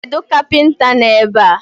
Kedu kapinta no ebe?